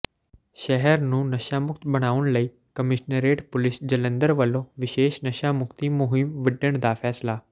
ਸ਼ਹਿਰ ਨੂੰ ਨਸ਼ਾਮੁਕਤ ਬਣਾਉਣ ਲਈ ਕਮਿਸ਼ਨਰੇਟ ਪੁਲੀਸ ਜਲੰਧਰ ਵੱਲੋਂ ਵਿਸ਼ੇਸ਼ ਨਸ਼ਾਮੁਕਤੀ ਮੁਹਿੰਮ ਵਿੱਢਣ ਦਾ ਫੈਸਲਾ